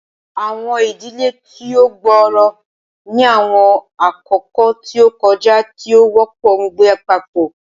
Awọn idile ti o gbooro ni awọn akoko ti o kọja ti o wọpọ ngbe papọ.